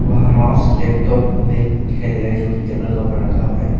वहां mouse laptop bag दिखाई दे रहे है जोकि टेबल का ऊपर रखा हुआ है।